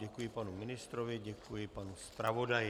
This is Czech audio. Děkuji panu ministrovi, děkuji panu zpravodaji.